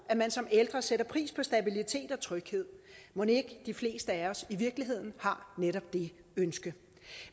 at man som ældre sætter pris på stabilitet og tryghed mon ikke de fleste af os i virkeligheden har netop det ønske